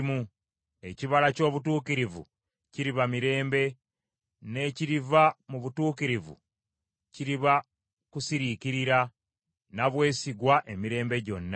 Ekibala ky’obutuukirivu kiriba mirembe, n’ekiriva mu butuukirivu kiriba kusiriikirira na bwesige emirembe gyonna.